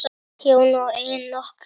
Jóna og Enok.